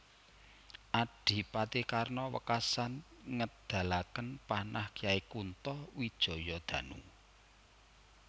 Adipati Karna wekasan ngedalaken panah Kyai Kunto Wijayadanu